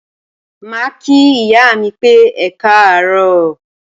Màá kí ìyá mi pé Ekáàróò.